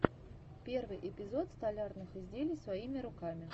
первый эпизод столярных изделий своими руками